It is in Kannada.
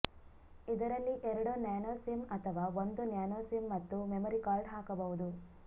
ಇದರಲ್ಲಿ ಎರಡು ನ್ಯಾನೋ ಸಿಮ್ ಅಥವಾ ಒಂದು ನ್ಯಾನೋ ಸಿಮ್ ಮತ್ತು ಮೆಮೊರಿ ಕಾರ್ಡ್ ಹಾಕಬಹುದು